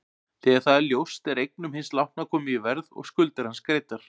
Þegar það er ljóst er eignum hins látna komið í verð og skuldir hans greiddar.